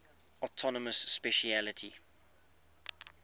autonomous specialty